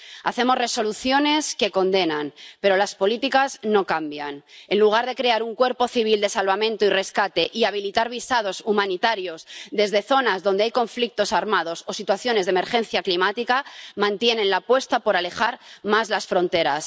Hacemos resoluciones que condenan, pero las políticas no cambian. En lugar de crear un cuerpo civil de salvamento y rescate y habilitar visados humanitarios desde zonas donde hay conflictos armados o situaciones de emergencia climática, mantienen la apuesta por alejar más las fronteras.